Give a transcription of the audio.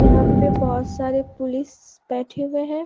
यहां पे बहुत सारे पुलिस बैठे हुए हैं।